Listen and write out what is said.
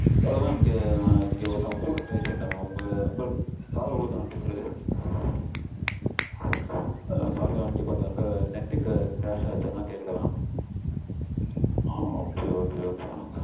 Hello mam இங்க ஒருதவங்க கூட பேசிடிருந்தேன் mam. உங்களுக்கு காதுல விழுதா நா பேசறது? Sorry mam இங்க கொஞ்சம் net crash ஆச்சு அதா கேக்கல mam. ok ok ok